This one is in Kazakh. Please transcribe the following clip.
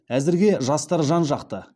қазіргі жастар жан жақты